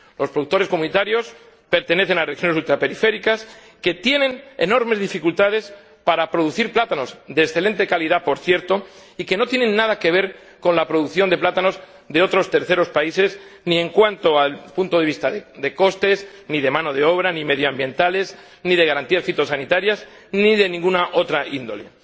Los productores comunitarios pertenecen a regiones ultraperiféricas que tienen enormes dificultades para producir plátanos —de excelente calidad, por cierto— y que no tienen nada que ver con la producción de plátanos de otros terceros países ni en cuanto al punto de vista de costes, ni de mano de obra, ni medioambientales, ni de garantías fitosanitarias, ni de ninguna otra índole.